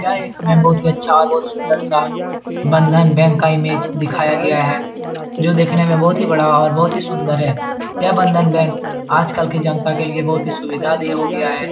यह एक हमें बहुत ही अच्छा और बहुत सुन्दर सा बंधन बैंक का इमेज दिखाया गया है जो देखने में बहुत ही बड़ा और बहुत ही सुन्दर है यह बंधन बैंक आजकल की जनता के लिए बहुत ही सुविधा देह हो गया है।